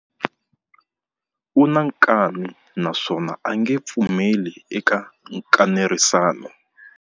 U na nkani naswona a nge pfumeli eka nkanerisano.